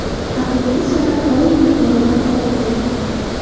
Haqiqiy san’at doim yuqori baholangan.